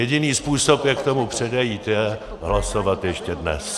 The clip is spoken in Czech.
Jediný způsob, jak tomu předejít, je hlasovat ještě dnes.